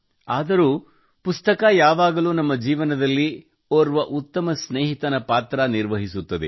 ಆದರೂ ಪುಸ್ತಕ ಯಾವಾಗಲೂ ನಮ್ಮ ಜೀವನದಲ್ಲಿ ಓರ್ವ ಉತ್ತಮ ಸ್ನೇಹಿತನ ಪಾತ್ರ ನಿರ್ವಹಿಸುತ್ತದೆ